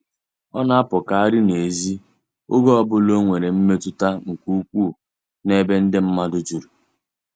Ọ na-apụkarị n'ezi oge ọ bụla o nwere mmetụta nke ukwuu n'ebe ndị mmadụ juru.